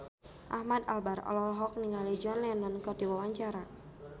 Ahmad Albar olohok ningali John Lennon keur diwawancara